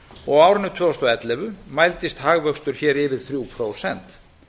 og á árinu tvö þúsund og ellefu mældist hagvöxtur hér yfir þrjú prósent